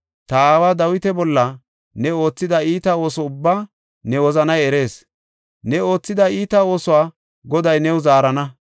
Ta aawa Dawita bolla ne oothida iita ooso ubbaa ne wozanay erees. Ne oothida iita oosuwa Goday new zaarana.